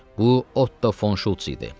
Bu Otto Fonşults idi.